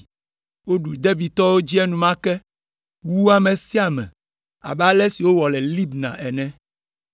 Woɖu Debirtɔwo dzi enumake, wu ame sia ame abe ale si wowɔ le Libna ene.